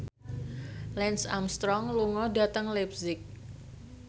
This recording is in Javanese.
Lance Armstrong lunga dhateng leipzig